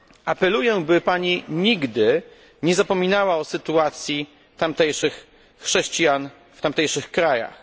Apeluję, by Pani nigdy nie zapominała o sytuacji tamtejszych chrześcijan w tamtejszych krajach.